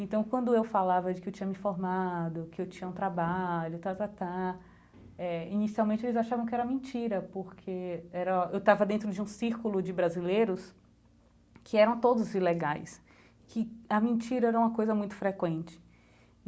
Então, quando eu falava de que eu tinha me formado, que eu tinha um trabalho, eh... Inicialmente, eles achavam que era mentira, porque era eu estava dentro de um círculo de brasileiros que eram todos ilegais, que a mentira era uma coisa muito frequente.